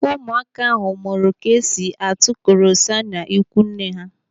Ụmụaka ahụ mụrụ etu esi atụ korosa n'ikwu nne ha.